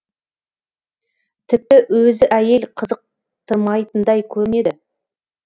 тіпті өзі әйел қызықтырмайтындай көнеді